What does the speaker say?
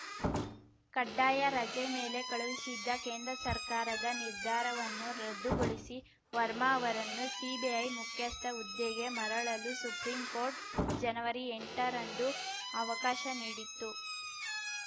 ಕಡ್ಡಾಯ ರಜೆ ಮೇಲೆ ಕಳುಹಿಸಿದ್ದ ಕೇಂದ್ರ ಸರ್ಕಾರದ ನಿರ್ಧಾರವನ್ನು ರದ್ದುಗೊಳಿಸಿ ವರ್ಮಾ ಅವರನ್ನು ಸಿಬಿಐ ಮುಖ್ಯಸ್ಥ ಹುದ್ದೆಗೆ ಮರಳಲು ಸುಪ್ರೀಂಕೋರ್ಟ್‌ ಜನವರಿಎಂಟರಂದು ಅವಕಾಶ ನೀಡಿತ್ತು